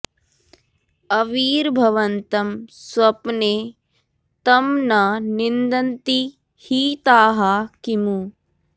अविर्भवन्तं स्वप्ने तं न निन्दन्ति हि ताः किमु